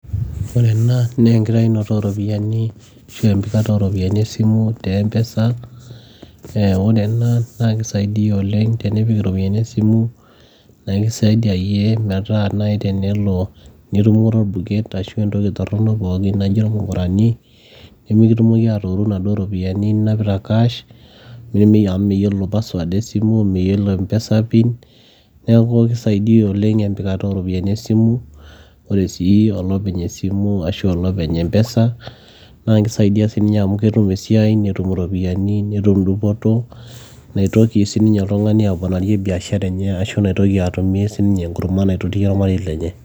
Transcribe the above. Ore ena naa enkitainoto ooropiyiani ashuu empikata ooropiyiani esimu te empesa eeh ore ena naa keisaidia oleng tenipik iropiyiani esimu naa keisaidia iyie metaa tenelo nitumore oebuket ashua entoki torono pookin naaijio irmukurani nimikitumoki aatooru inaduo ropiyiani ninapita cash[cs amu mayiolo password e simu mayiolo empesa pin neeku keisaidia oleng empikata ooropiyiani esimu ore sii olopeny esimu ashua olopeny empesa naa keisaidia sii ninye amu ketum esiai netum iropiyiani netum dupoto neitoki sii ninye oltung'ani aponarie biashara enye ashua atumie sii ninye enkurma naitotie ormarei lenye.